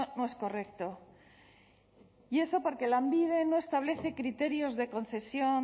no es correcto y eso porque lanbide no establece criterios de concesión